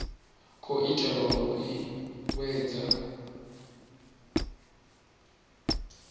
khou itelwa u i vhuedzedza